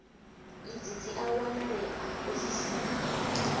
idzi dzi a wanalea ofisini